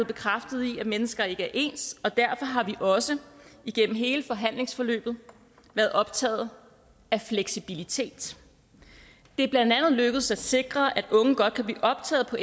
bekræftet i at mennesker ikke er ens og derfor har vi også igennem hele forhandlingsforløbet været optaget af fleksibilitet det er blandt andet lykkedes at sikre at unge godt kan blive optaget på